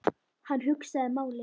Hann hugsaði málið.